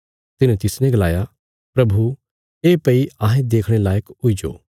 तिन्हे तिसने गलाया प्रभु ये भई अहें देखणे लायक हुईजो